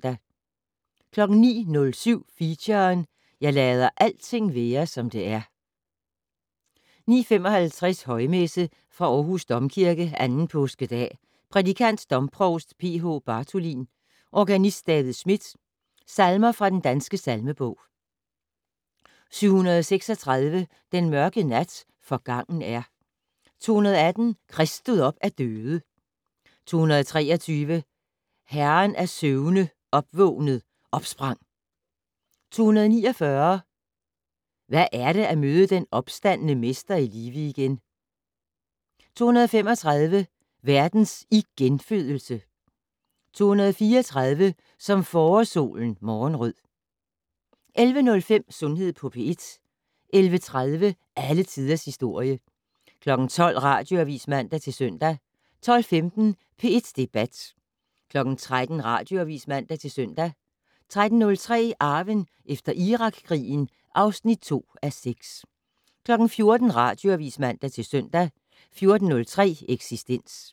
09:07: Feature: Jeg lader alting være som det er 09:55: Højmesse - Fra Aarhus Domkirke. 2. påskedag. Prædikant: Domprovst P.H. Bartholin. Organist: David Schmidt.. Salmer fra Den Danske Salmebog: 736 "Den mørke nat forgangen er". 218 "Krist stod op af døde". 223 "Herren af søvne opvågned, opsprang". 249 "Hvad er det at møde den opstandne mester i live igen". 235 "Verdens igenfødelse". 234 "Som forårssolen morgenrød". 11:05: Sundhed på P1 11:30: Alle tiders historie 12:00: Radioavis (man-søn) 12:15: P1 Debat 13:00: Radioavis (man-søn) 13:03: Arven efter Irakkrigen (2:6) 14:00: Radioavis (man-søn) 14:03: Eksistens